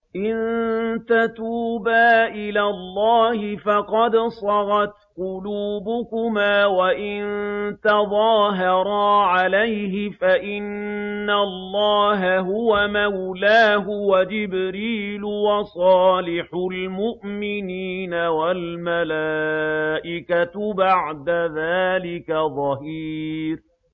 إِن تَتُوبَا إِلَى اللَّهِ فَقَدْ صَغَتْ قُلُوبُكُمَا ۖ وَإِن تَظَاهَرَا عَلَيْهِ فَإِنَّ اللَّهَ هُوَ مَوْلَاهُ وَجِبْرِيلُ وَصَالِحُ الْمُؤْمِنِينَ ۖ وَالْمَلَائِكَةُ بَعْدَ ذَٰلِكَ ظَهِيرٌ